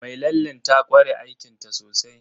Mai lallen ta ƙware aikinta sosai